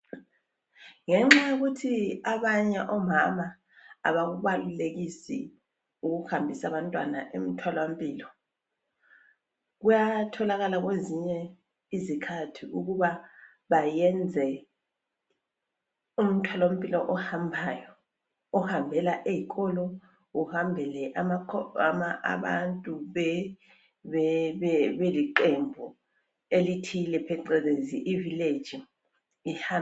Ngenxa yokuthi abanye omama abakubalulekisi ukuhambisa abantwana emtholampilo. Kuyatholakala kwezinye izikhathi ukuba bayenze umtholampilo ohambayo. Ohambela eyikolo uhambele abantu beliqembu elithile beqelezi ivileji ihambe.